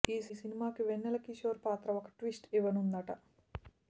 ఈ సినిమా కి వెన్నెల కిషోర్ పాత్ర ఒక ట్విస్ట్ ని ఇవ్వనుందట